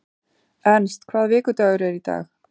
Ernst, hvaða vikudagur er í dag?